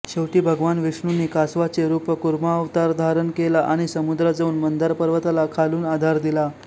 शेवटी भगवान विष्णूंनी कासवाचे रूपकूर्मावतारधारण केला आणि समुद्रात जाऊन मंदार पर्वताला खालून आधार दिला